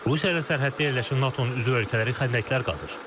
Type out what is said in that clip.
Rusiya ilə sərhəddə yerləşən NATO-nun üzv ölkələri xəndəklər qazır.